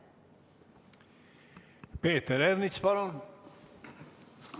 Peeter Ernits, palun!